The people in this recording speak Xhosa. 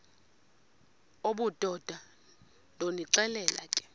obudoda ndonixelela ke